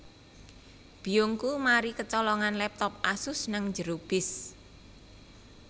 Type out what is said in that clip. Biyungku mari kecolongan laptop Asus nang njero bis